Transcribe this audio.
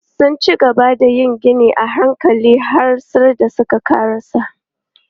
Sun cigaba da yin ginin a hankali har sai da suka ƙarasa.